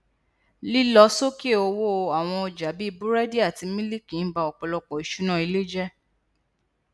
lílọ sókè owó àwọn ọjà bíi búrẹdì àti mílìkì n ba ọpọlọpọ ìṣúná ilé jẹ